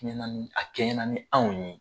A kɛɲɛ na ni a kɛɲɛ na ni anw ye.